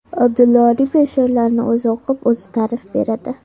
Abdulla Oripov she’rlarini o‘zi o‘qib, o‘zi ta’rif beradi.